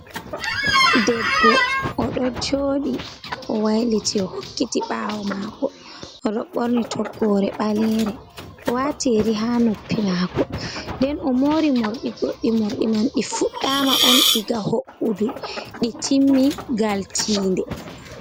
Debbo oɗo joɗi o wailiti o hokkiti ɓawo mako, oɗo ɓorni toggore ɓalere, o wati yeri ha noppi mako, nden o mori morɗi goɗɗi morɗi man ɗi fuɗɗa ma on diga ho’udu ɗi timmi gal tiinde.